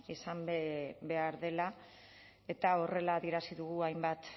izan behar dela eta horrela adierazi dugu hainbat